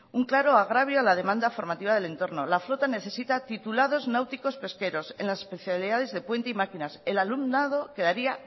un claro agravio a la demanda formativa del entorno la flota necesita titulados náuticos pesqueros en las especialidades de puente y maquinas el alumnado quedaría